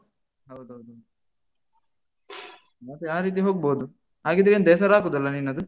ಹೌದೌದೌದು. ಮತ್ತೆ ಆ ರೀತಿ ಹೊಗ್ಬೋದು. ಹಾಗಿದ್ರೆ ಎಂತ ಹೆಸರಾಕುದಲ್ಲಾ ನಿನ್ನದು?